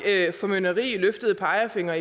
formynderi og løftede pegefingre